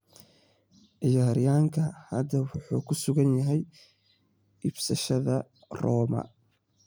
Ciyaaryahankan hadda wuxuu ku sugan yahay iibsashada Roma.